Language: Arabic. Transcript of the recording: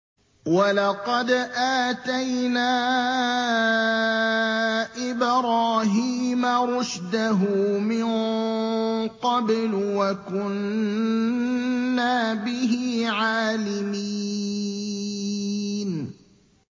۞ وَلَقَدْ آتَيْنَا إِبْرَاهِيمَ رُشْدَهُ مِن قَبْلُ وَكُنَّا بِهِ عَالِمِينَ